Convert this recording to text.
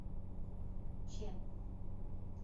че